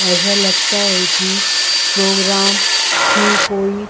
ऐसा लगता है कि प्रोग्राम की कोई --